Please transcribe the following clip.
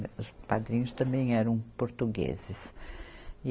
Os padrinhos também eram portugueses.